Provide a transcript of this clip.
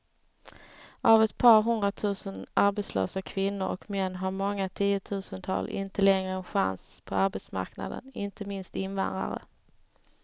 Av ett par hundratusen arbetslösa kvinnor och män har många tiotusental inte längre en chans på arbetsmarknaden, inte minst invandrare.